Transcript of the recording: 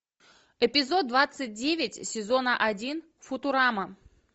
эпизод двадцать девять сезона один футурама